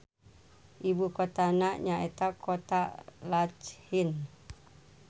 Ibu kotana nyaeta Kota Lachin.